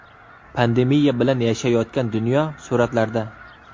Pandemiya bilan yashayotgan dunyo suratlarda.